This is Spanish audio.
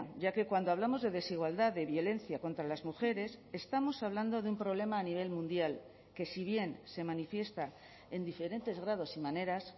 ya que cuando hablamos de desigualdad de violencia contra las mujeres estamos hablando de un problema a nivel mundial que si bien se manifiesta en diferentes grados y maneras